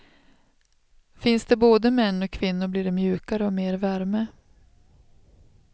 Finns det både män och kvinnor blir det mjukare och mer värme.